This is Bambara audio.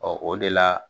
Ɔ o de la